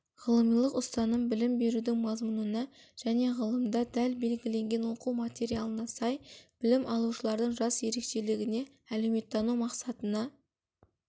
ғылымилық ұстаным білім берудің мазмұнына және ғылымда дәл белгіленген оқу материалына сай білім алушылардың жас ерекшелігіне әлеуметтену мақсатына